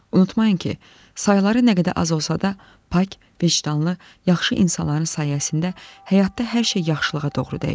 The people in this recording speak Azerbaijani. Unutmayın ki, sayıları nə qədər az olsa da, pak, vicdanlı, yaxşı insanların sayəsində həyatda hər şey yaxşılığa doğru dəyişir.